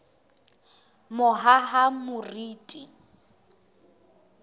mohahamoriti